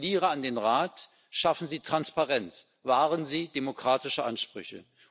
Ich appelliere an den Rat Schaffen Sie Transparenz, wahren Sie demokratische Ansprüche!